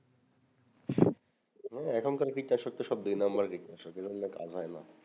হম এখন কার কীটনাশক তো দুই নম্বর কীটনাশক এই গুলো নিয়ে কাজ হয় না